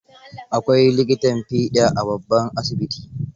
Akwai likitan fiɗa a babban asibiti.